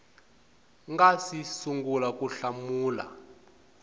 nga si sungula ku hlamula